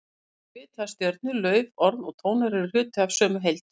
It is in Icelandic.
Þeir vita að stjörnur, lauf, orð og tónar eru hluti af sömu heild.